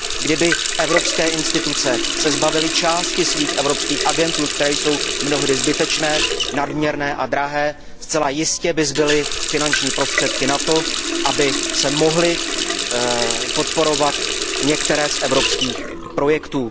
Kdyby se evropské instituce zbavily části svých evropských agentur, které jsou mnohdy zbytečné, nadměrné a drahé, zcela jistě by zbyly finanční prostředky na to, aby se mohly podporovat některé z evropských projektů.